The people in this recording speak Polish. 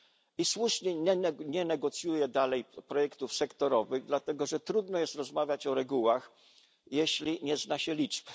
i słusznie nie negocjuje dalej projektów sektorowych, dlatego że trudno jest rozmawiać o regułach, jeśli nie zna się liczb.